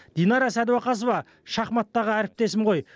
динара сәдуақасова шахматтағы әріптесім ғой